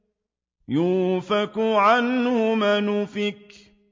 يُؤْفَكُ عَنْهُ مَنْ أُفِكَ